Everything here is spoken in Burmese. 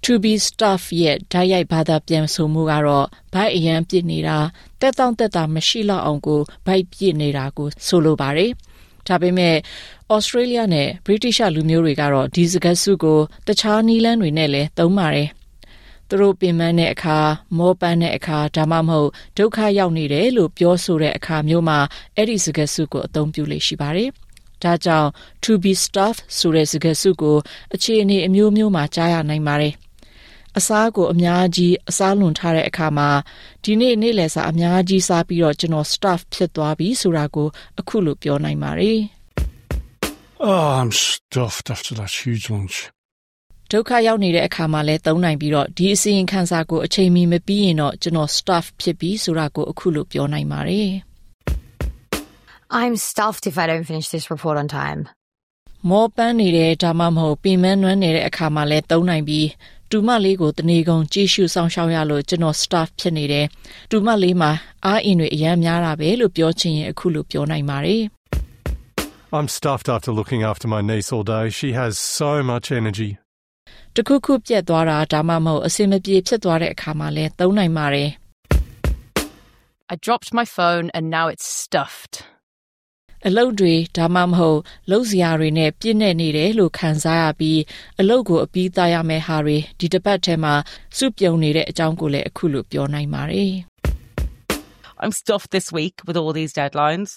To be stuffed ရဲ့ တိုက်ရိုက်ဘာသာပြန်မှုက ဗိုက်အရမ်းပြည့်နေတာ — သက်သောင့်သက်သာ မရှိလောက်အောင် ဗိုက်ပြည့်နေတာကို ဆိုလိုပါတယ်။ ဒါပေမဲ့ သြစတြေးလျနဲ့ ဗြိတိသျှလူမျိုးတွေက ဒီစကားစုကို တခြားနည်းလမ်းတွေနဲ့လည်း သုံးပါတယ်။ သူတို့ ပင်ပန်းတယ်၊ မောပန်းတယ်၊ ဒါမှမဟုတ် ဒုက္ခရောက်နေတယ်လို့ ပြောတဲ့အခါမျိုးမှာ အဲဒီ စကားစုကို အသုံးပြုလေ့ရှိပါတယ်။ ဒါကြောင့် ‘to be stuffed’ ဆိုတဲ့ စကားစုကို အခြေအနေအမျိုးမျိုးမှာ ကြားရနိုင်ပါတယ်။ အစားကို အများကြီး အစားလွန်ထားတဲ့အခါမှာ ဒီနေ့ နေ့လယ်စာ အများကြီး စားပြီးတော့ ကျွန်တော် stuffed ဖြစ်သွားပြီ ဆိုတာကို အခုလို ပြောနိုင်ပါတယ်။ - I’m stuffed after that huge lunch! ဒုက္ခရောက်နေတဲ့အခါမှာလည်း သုံးနိုင်ပြီး ဒီအစီရင်ခံစာကို အချိန်မီ မပြီးရင် ကျွန်တော် stuffed ဖြစ်ပြီ။ ဆိုတာကို အခုလို ပြောနိုင်ပါတယ်။ - I’m stuffed if I don’t finish this report on time. မောပန်းနေတယ် ဒါမှမဟုတ် ပင်ပန်းနွမ်းနယ်တဲ့အခါလည်း သုံးနိုင်ပြီး တူမလေးကို တစ်နေကုန် ကြည့်ရှုစောင့်ရှောက်ရလို့ ကျွန်တော် stuffed ဖြစ်နေတယ်— တူမလေးမှာ အားအင်တွေ အရမ်းများတာပဲ လို့ ပြောချင်ရင် အခုလို ပြောနိုင်ပါတယ်။ - I’m stuffed after looking after my niece all day – she has so much energy! တစ်ခုခု ပျက်သွားတာ ဒါမှမဟုတ် အဆင်မပြေ ဖြစ်သွားတဲ့အခါလည်း သုံးနိုင်ပါတယ်။ - I dropped my phone and now it’s stuffed. အလုပ်တွေ ဒါမှမဟုတ် လုပ်စရာတွေနဲ့ ပြည့်နှက်နေတယ်လို့ ခံစားရပြီး အလုပ်အပြီးသတ်ရမယ့် ဟာတွေ ဒီတစ်ပတ်ထဲမှာ စုပြုံနေတဲ့အကြောင်း အခုလို ပြောနိုင်ပါတယ်။ - I’m stuffed this week with all these deadlines.